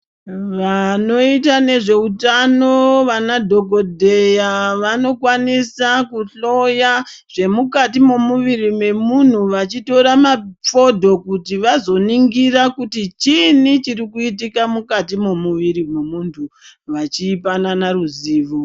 Vanoita nezveutano vana dhokodheya vanokwanisa kuhloya zvemukati memuviri mwemuntu vacitora mafondo kuti vazoningira kuti chiini chiri kuitika mukati memuviri memuntu vachipana ruzivo.